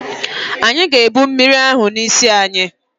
Anyị ga-ebụ mmiri ahụ n'isi anyị